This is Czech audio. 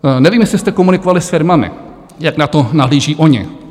Nevím, jestli jste komunikovali s firmami, jak na to nahlíží ony.